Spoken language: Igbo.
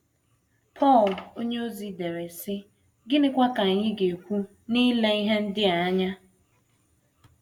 Pọl onyeozi dere, sị: “ Gịnịkwa ka anyị ga - ekwu n’ile ihe ndị a anya?